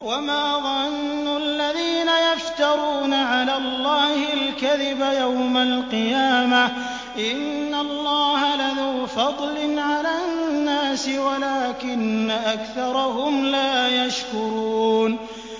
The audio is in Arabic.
وَمَا ظَنُّ الَّذِينَ يَفْتَرُونَ عَلَى اللَّهِ الْكَذِبَ يَوْمَ الْقِيَامَةِ ۗ إِنَّ اللَّهَ لَذُو فَضْلٍ عَلَى النَّاسِ وَلَٰكِنَّ أَكْثَرَهُمْ لَا يَشْكُرُونَ